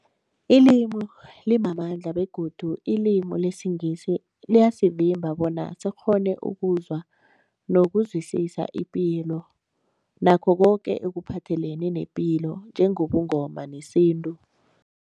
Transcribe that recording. Ilimi limamandla begodu ilimi lesiNgisi liyasivimba bona sikghone ukuzwa nokuzwisisa ipilo nakho koke ekuphathelene nepilo njengobuNgoma nesintu.